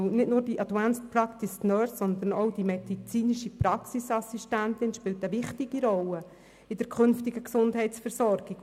Denn nicht nur die Advanced Practice Nurses, sondern auch die medizinischen Praxisassistentinnen spielen eine wichtige Rolle in der künftigen Gesundheitsversorgung.